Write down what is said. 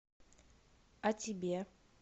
о тебе